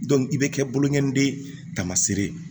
i bɛ kɛ bokɔnɔnde tamaseere ye